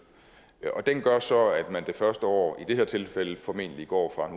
og den gør så at man det første år i det her tilfælde formentlig går fra